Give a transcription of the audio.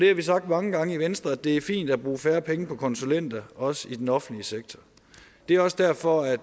har vi sagt mange gange i venstre at det er fint at bruge færre penge på konsulenter også i den offentlige sektor det er også derfor at